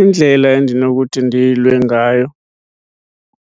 Indlela endinokuthi ndiyilwe ngayo